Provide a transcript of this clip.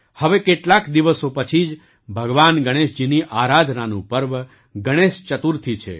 હવે કેટલાક દિવસો પછી જ ભગવાન ગણેશજીની આરાધનાનું પર્વ ગણેશ ચતુર્થી છે